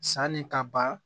Sanni ka ban